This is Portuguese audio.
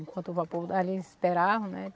Enquanto o vapor dali, eles esperavam, né?